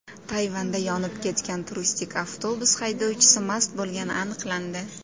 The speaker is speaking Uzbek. Tayvanda yonib ketgan turistik avtobus haydovchisi mast bo‘lgani aniqlandi.